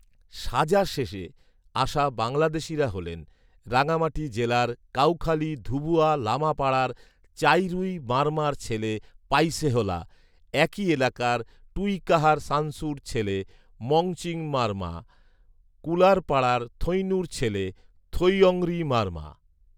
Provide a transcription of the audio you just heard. সাজা শেষে আসা বাংলাদেশিরা হলেন, রাঙামাটি জেলার কাউখালী ধুবুয়া লামাপাড়ার চাইরুই মারমার ছেলে পাইসেহলা, একই এলাকার টুইকাহার সানসুর ছেলে মংচিং মারমা, কুলারপাড়ার থৈইনুর ছেলে থৈঅংরী মারমা